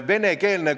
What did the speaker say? Aitäh, hea eesistuja!